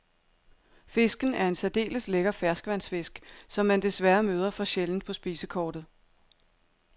Fisken er en særdeles lækker ferskvandsfisk, som man desværre møder for sjældent på spisekortet.